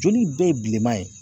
Joli bɛɛ ye bilenman ye.